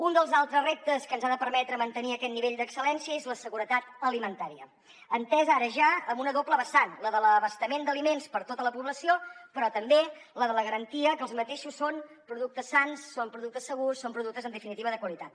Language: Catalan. un dels altres reptes que ens ha de permetre mantenir aquest nivell d’excel·lència és la seguretat alimentària entesa ara ja amb una doble vessant la de l’abastament d’aliments per a tota la població però també la de la garantia que aquests són productes sans són productes segurs són productes en definitiva de qualitat